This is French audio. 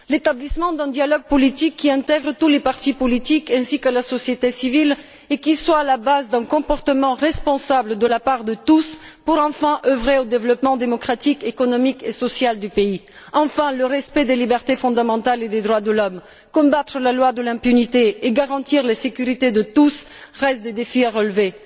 L'établissement d'un dialogue politique qui intègre tous les partis politiques ainsi que la société civile et qui soit à la base d'un comportement responsable de la part de tous est nécessaire pour, enfin, œuvrer au développement démocratique, économique et social du pays. Le respect des libertés fondamentales et des droits de l'homme, la lutte contre la loi de l'impunité et la garantie de la sécurité de tous restent des défis à relever.